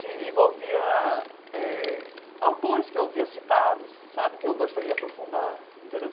se envolvia eh autores que eu via citados, sabe, que eu gostaria de aprofundar, entendeu?